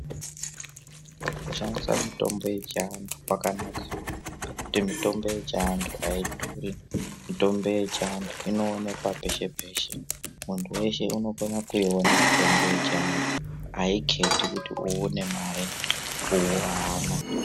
Kushandisa mitombo yechiandu kwakanaka ngekuti mitombo yechiandu aidhuri mitombo yechiandu inoonekwa peshe-peshe muntu weshe anokona kuiona mutombo yechiantu aiketi kuti uwu une mare uwo haana.